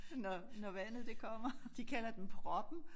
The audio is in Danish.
Når når vandet det kommer de kalder den proppen